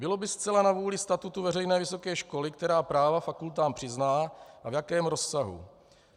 Bylo by zcela na vůli statutu veřejné vysoké školy, která práva fakultám přizná a v jakém rozsahu.